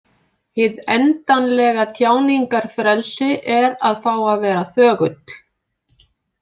Hið endanlega tjáningarfrelsi er að fá að vera þögull.